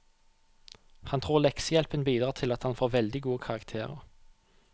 Han tror leksehjelpen bidrar til at han får veldig gode karakterer.